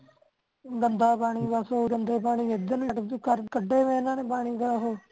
ਗੰਦਾ ਪਾਣੀ ਬਸ ਉ ਗੰਦੇ ਪਾਣੀ ਐਦਰ ਨੂੰ ਕਢੀਆਂ ਇਹਨਾਂ ਨੇ ਓਹੋ